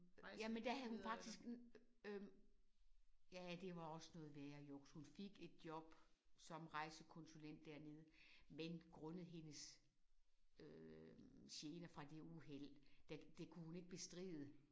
Jamen der havde hun faktisk øh ja det var også noget værre juks. Hun fik et job som rejsekonsulent dernede men grundet hende øh gene fra det uheld der det kunne hun ikke bestride